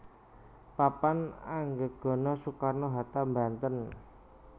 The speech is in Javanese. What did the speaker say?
Papan Anggegana Soekarno Hatta Banten